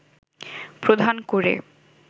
প্রধান করে